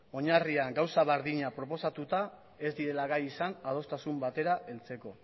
oinarrian gauza berdina proposatuta ez direla gai izan adostasun batera heltzeko